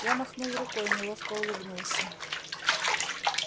я махнул рукой неловко улыбнулся